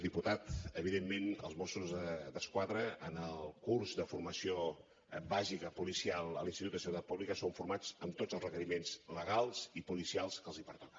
diputat evidentment els mossos d’esquadra en el curs de formació bàsica policial a l’institut de seguretat pública són formats amb tots els requeriments legals i policials que els pertoca